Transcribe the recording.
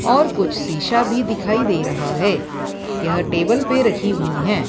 और कुछ शीशा भी दिखाई दे रहा है यह टेबल पे रखी हुई हैं।